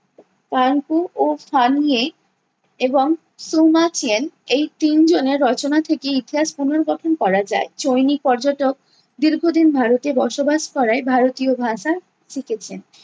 ও এবং এই তিন জনের রচনা থেকে ইতিহাস পুনর্গঠন করা যায়। চৈনিক পর্যটক দীর্ঘদিন ভারতে বসবাস করায় ভারতীয় ভাষা শিখেছেন।